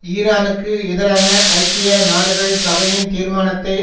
ஈரானுக்கு எதிரான ஐக்கிய நாடுகள் சபையின் தீர்மானத்தை